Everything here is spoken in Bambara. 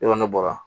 Ne kɔni ne bɔra